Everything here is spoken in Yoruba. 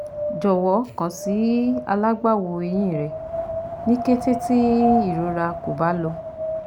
Jọwọ kan si alagbawo ehin rẹ ni kete ti irora ko ba lọ